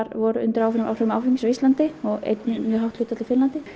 voru undir áhrifum áhrifum áfengis á Íslandi og einnig mjög hátt hlutfall í Finnlandi